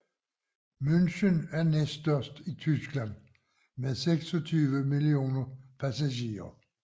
München er næststørst i Tyskland med 26 millioner passagerer